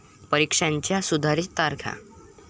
परीक्षांच्या सुधारित तारखा